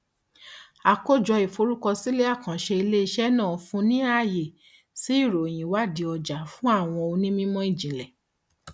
àkójọ ìforúkọsílẹ àkànṣe iléiṣẹ náà fúnni ní àyè sí ìròyìn ìwádìí ọjà fún àwọn onímọ ìjìnlẹ